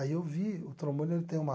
Aí eu vi, o trombone ele tem uma